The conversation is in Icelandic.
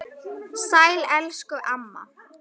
Sæl elsku amma.